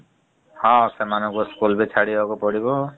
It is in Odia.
ହ ସେମାନଙ୍କୁ school ବି ଛାଡ଼ିବାକୁ ପଡିବ ।